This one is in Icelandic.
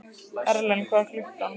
Erlen, hvað er klukkan?